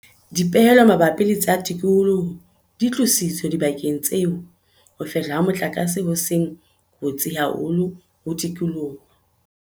Dipehelo mabapi le tsa tikoloho di tlositswe dibakeng tseo ho fehlwa ha motlakase ho seng kotsi haholo ho tikoloho.